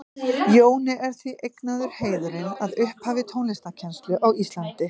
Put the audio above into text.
Jóni er því eignaður heiðurinn að upphafi tónlistarkennslu á Íslandi.